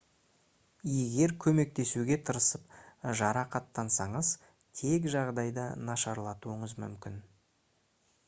егер көмектесуге тырысып жарақаттансаңыз тек жағдайды нашарлатуыңыз мүмкін